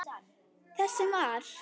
Þess sem var.